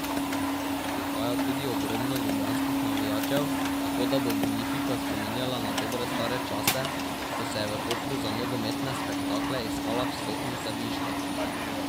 Prihaja tudi ogromno ljubljanskih navijačev, tako da bo Bonifika spominjala na dobre stare čase, ko se je v Kopru za nogometne spektakle iskala vstopnica viška.